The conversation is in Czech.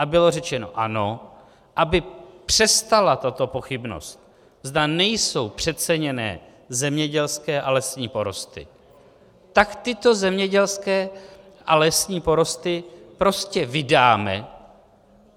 A bylo řečeno ano, aby přestala tato pochybnost, zda nejsou přeceněné zemědělské a lesní porosty, tak tyto zemědělské a lesní porosty prostě vydáme.